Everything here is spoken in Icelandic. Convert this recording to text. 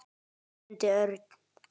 stundi Örn.